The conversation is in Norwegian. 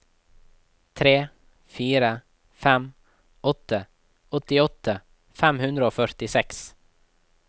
tre fire fem åtte åttiåtte fem hundre og førtiseks